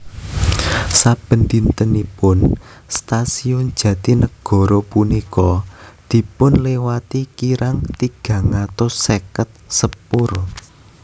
Saben dintenipun stasiun Jatinagara punika dipunliwati kirang tigang atus seket sepur